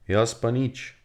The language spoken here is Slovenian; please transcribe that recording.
Jaz pa nič.